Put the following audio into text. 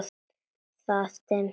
Það dimmdi.